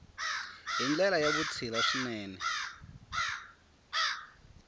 hi ndlela ya vutshila swinene